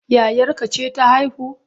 Yayarka ce ta haihu?